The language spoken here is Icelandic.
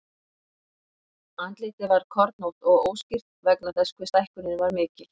Andlitið var kornótt og óskýrt vegna þess hve stækkunin var mikil.